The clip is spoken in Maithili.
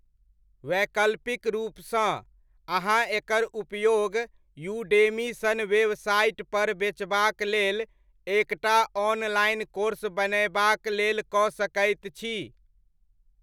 वैकल्पिक रूपसँ, अहाँ एकर उपयोग यूडेमी सन वेबसाइटपर बेचबाक लेल एक टा ऑनलाइन कोर्स बनयबाक लेल कऽ सकैत छी।